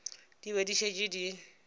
di be di šetše di